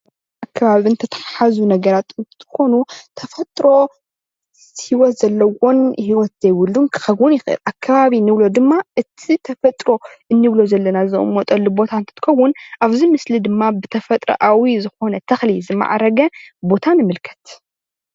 ከብብን ዝተተሓሓዙን ነገረት እንትኾኑ ተፈጥሮ ሂወት ዘለዎን ሂወት ዘይብሉን ክኾን ይኽእል። ኣከባቢ እንብሎ ድማ እቲ ተፈጥሮ እንብሎ ዘለና መቀመጢ እንትኸውን ኣብዛ ምስሊ ድማ ብተፈጥራኣዊ ዝኾነ ዝማዕረገ